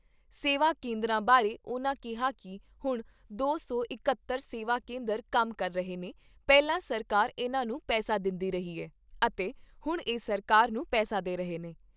ਸੇਵਾ ਕੇਂਦਰਾਂ ਬਾਰੇ ਉਨ੍ਹਾਂ ਕਿਹਾ ਕਿ ਹੁਣ ਦੋ ਸੌ ਇਕਹੱਤਰ ਸੇਵਾ ਕੇਂਦਰ ਕੰਮ ਕਰ ਰਹੇ ਨੇ, ਪਹਿਲਾਂ ਸਰਕਾਰ ਇਨ੍ਹਾਂ ਨੂੰ ਪੈਸਾ ਦਿੰਦੀ ਰਹੀ ਐ, ਅਤੇ ਹੁਣ ਇਹ ਸਰਕਾਰ ਨੂੰ ਪੈਸਾ ਦੇ ਰਹੇ ਨੇ।